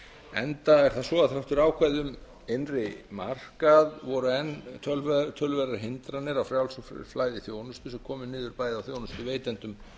enda er það svo að þrátt fyrir ákvæði um innri markað voru enn töluverðar hindranir á frjálsu flæði þjónustu sem komu niður bæði á þjónustuveitendum